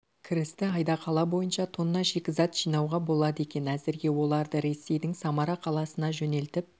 кірісті айда қала бойынша тонна шикізат жинауға болады екен әзірге оларды ресейдің самара қаласына жөнелтіп